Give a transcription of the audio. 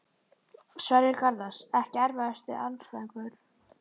Sverrir Garðars Ekki erfiðasti andstæðingur?